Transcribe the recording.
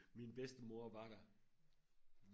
min bedstemor var der